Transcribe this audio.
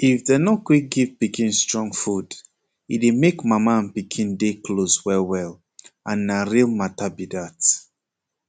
if dem nor quick give pikin strong food e dey make mama and pikin dey close well well and na real mata be dat